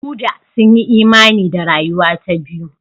Buddha sun yi imani da rayuwa ta biyu.